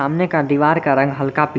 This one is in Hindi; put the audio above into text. का दीवार का रंग हल्का पी--